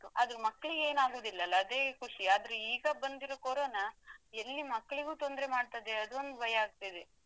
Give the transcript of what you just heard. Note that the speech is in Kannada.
ಅದು ಮಕ್ಲಿಗೆ ಏನ್ ಆಗುದಿಲ್ಲ ಅದೇ ಖುಷಿ ಆದ್ರೆ ಈಗ ಬಂದಿರುದು Corona ಎಲ್ಲಿ ಮಕ್ಕಳಿಗೆ ತೊಂದ್ರೆ ಮಾಡ್ತದೆ ಅದೊಂದು ಭಯಾಗ್ತಿದೆ.